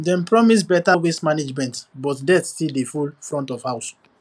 dem promise better waste management but dirt still dey full front of house